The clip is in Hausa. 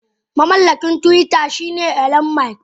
Mamallakin twitter shine Elon musk.